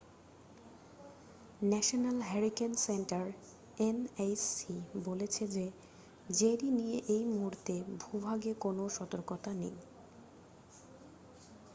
National Hurricane Center nhc বলছে যে Jerry নিয়ে এই মুহূর্তে ভূভাগে কোন সতর্কতা নেই।